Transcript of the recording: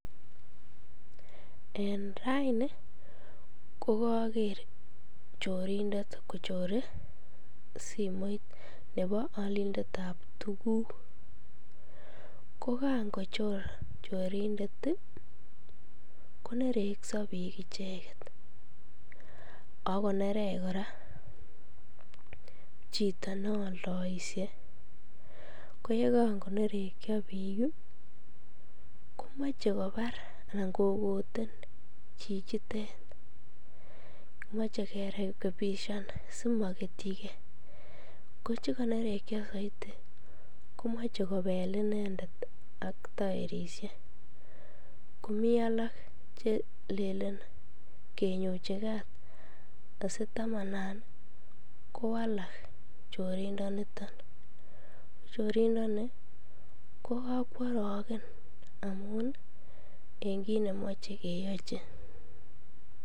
En raini ko koker chorindet kochore simoit nebo olindetab tukuk, ko kaan kochor chorindet konerekso biik icheket ak konerech kora chito neoldoishe, ko yekan konerekio biik komoche kobar anan kokoten chichitet, moche kerekebishan simoketyike, ko chekonerekio soiti komoche kobel inendet ak toerishek komii alak chelelen kenyochi kaat asitamanan kowalak chorindoniton, chorindoni ko kokworoken amun en kiit nemoche keyochi.